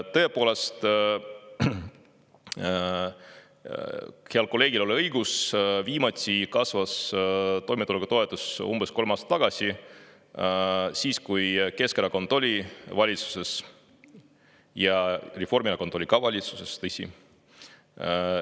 Tõepoolest, heal kolleegil oli õigus, viimati kasvas toimetulekutoetus umbes kolm aastat tagasi, siis kui Keskerakond oli valitsuses ja Reformierakond oli ka valitsuses, tõsi.